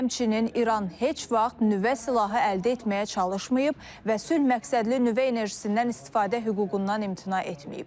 Həmçinin İran heç vaxt nüvə silahı əldə etməyə çalışmayıb və sülh məqsədli nüvə enerjisindən istifadə hüququndan imtina etməyib.